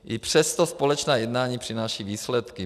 I přesto společná jednání přinášejí výsledky.